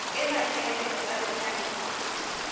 e maikaelelo a yona e